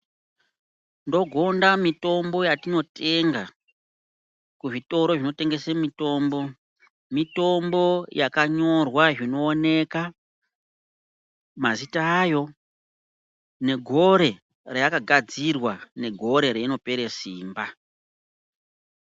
Ndogonda mitombo yatinotenga kuzvitoro zvinotengese mitombo, mitombo yakanyorwa zvinooneka mazita ayo negore raakagadzirwa negore reinopere simba.